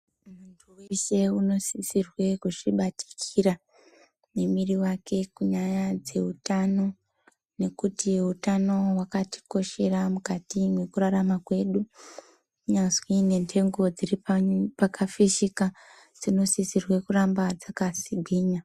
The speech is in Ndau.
Muntu vese unosisirwe kuzvibatikira nemwiri vake kunyaya dzehutano. Nekuti hutano hwakatikoshera mukati mwekurarama kwedu. Kunyazi nenhengo dziri pakafishika dzinosisirwe kuramba dzakagwinya.